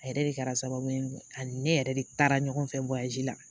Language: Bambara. A yɛrɛ de kɛra sababu ye ani ne yɛrɛ de taara ɲɔgɔn fɛ la